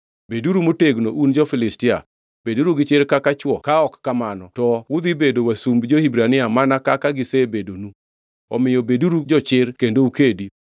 Beduru motegno un jo-Filistia! Beduru gi chir kaka chwo ka ok kamano to udhi bedo wasumb jo-Hibrania mana kaka gisebedonu. Omiyo beduru jochir kendo ukedi!”